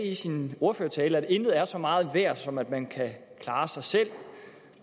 i sin ordførertale at intet er så meget værd som det at man kan klare sig selv